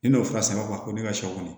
Ni n'o fura sera ko ne ka shɛw kɔnɔ